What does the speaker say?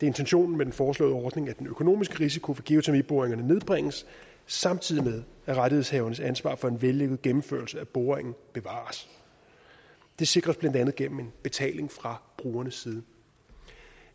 intentionen med den foreslåede ordning at den økonomiske risiko ved geotermiboringerne nedbringes samtidig med at rettighedshavernes ansvar for en vellykket gennemførelse af boringen bevares det sikres blandt andet gennem en betaling fra brugernes side